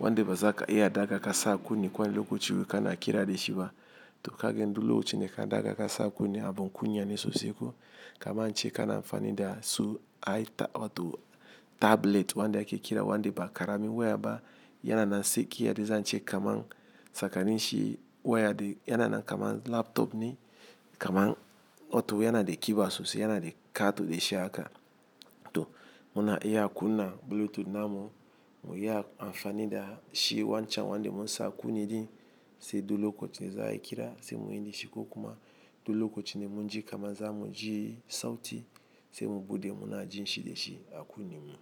wande bazaka iya daga kasa kuna ne kuna lokaci kana kira de shi ga to kagen du lokachi n ka daga kasa kuna ne abunkunya ne sosi ko kama ance kana mfani da su ai ta wato tablet wande ake kira wande ba karamin waya ba yana nan seke ya de zance kaman sakaninshi waya de yana nan kama laptop ne. Kaman wato yanada kiba sosai yanada kato dashi haka to muna iya kunna bulutut namu muyi amfani dashi wancen wanda munsa kun yaje su hiddo lokacin za ai kira sai muyi da shi ko kuma. Duloko chine munji kama za muji sauti se mu bude muna jin shide shi a kunnen mu.